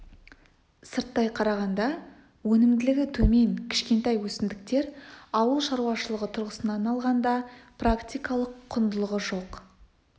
сырттай қарағанда өнімділігі төмен кішкентай өсімдіктер ауыл шаруашылығы тұрғысынан алғанда практикалық құндылығы жоқ